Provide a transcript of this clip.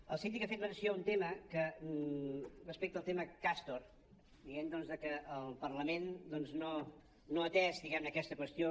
el síndic ha fet menció d’un tema respecte al tema castor dient que el parlament no ha atès diguem ne aquesta qüestió